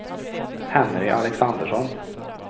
Henry Alexandersson